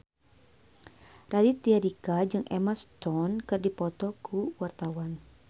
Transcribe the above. Raditya Dika jeung Emma Stone keur dipoto ku wartawan